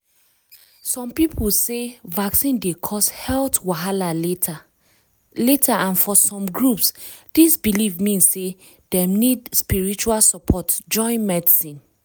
some people sey vaccine dey cause health wahala later later and for some groups this belief mean sey dem need spiritual support join medicine.